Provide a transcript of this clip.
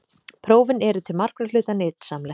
Prófin eru til margra hluta nytsamleg.